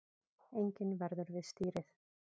Enginn verður við stýrið